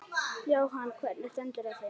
Jóhann: Hvernig stendur á því?